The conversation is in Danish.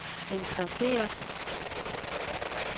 interesseret